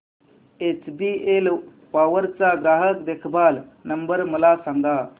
HBL power चा ग्राहक देखभाल नंबर मला सांगा